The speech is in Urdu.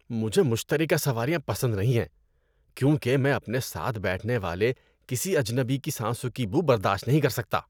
مجھے مشترکہ سواریاں پسند نہیں ہیں کیونکہ میں اپنے ساتھ بیٹھنے والے کسی اجنبی کی سانسوں کی بو برداشت نہیں کر سکتا۔